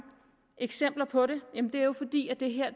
eksempler på